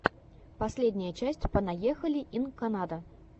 последняя часть понаехали ин канада